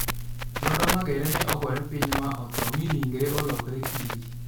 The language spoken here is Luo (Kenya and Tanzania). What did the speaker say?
Luanda Magere ne ogore piny ma otho, mi ringrene olokore kidi.